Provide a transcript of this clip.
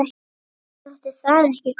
Honum þótti það ekki gott.